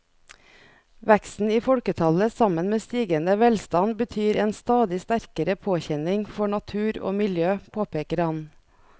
Veksten i folketallet sammen med stigende velstand betyr en stadig sterkere påkjenning for natur og miljø, påpeker han.